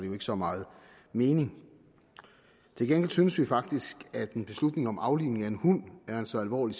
jo ikke så meget mening til gengæld synes vi faktisk at en beslutning om aflivning af en hund er så alvorlig